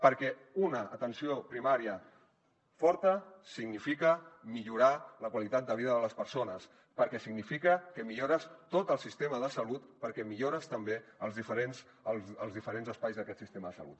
perquè una atenció primària forta significa millorar la qualitat de vida de les persones perquè significa que millores tot el sistema de salut perquè millores també els diferents espais d’aquest sistema de salut